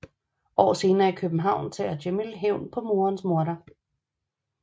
År senere i København tager Jamil hævn på morens morder